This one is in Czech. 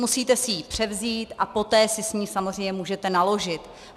Musíte si ji převzít a poté si s ní samozřejmě můžete naložit.